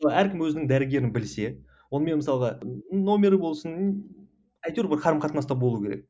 әркім өзінің дәрігерін білсе онымен мысалға нөмірі болсын әйтеу бір қарым қатынаста болу керек